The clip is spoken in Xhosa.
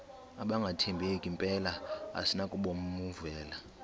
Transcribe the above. abangathembeki mpela asinakubovumela